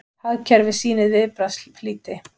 Hagkerfið sýnir viðbragðsflýti